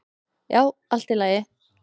"""Já, allt í lagi."""